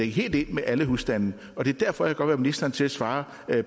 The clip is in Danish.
helt ind med alle husstande og det er derfor jeg godt vil have ministeren til at svare